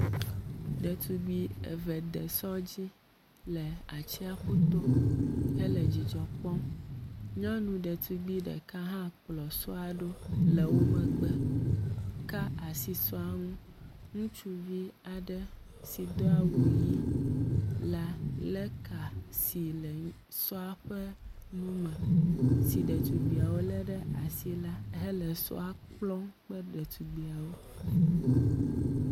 Ɖetugbui eve de sɔ̃ dzi le atsiaƒu to hele dzidzɔ kpɔm. Nyɔnu ɖetugbui ɖeka hã kplɔ sɔ̃a ɖo le wo megbe ka asi sɔ̃a ŋu. Ŋutsuvi aɖe si do awu ʋi la lé ka si le sɔ̃a ƒe nu me si ɖetugbuiwo le ɖe asi la hele sɔ̃a kplɔm kple ɖetugbuiawo.